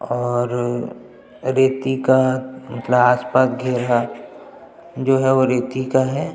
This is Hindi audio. और रितिका क्लास पग है जो है वो रितिका है।